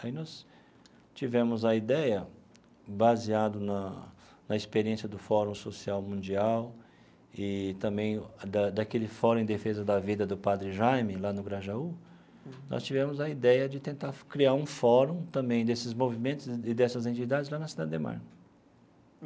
Aí nós tivemos a ideia, baseado na na experiência do Fórum Social Mundial e também da daquele Fórum em Defesa da Vida do Padre Jaime, lá no Grajaú, nós tivemos a ideia de tentar criar um fórum também desses movimentos e dessas entidades lá na Cidade Ademar.